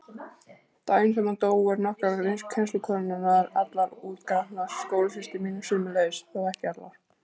Daginn sem hann dó voru nokkrar kennslukonurnar allar útgrátnar, skólasystur mínar sömuleiðis, þó ekki allar.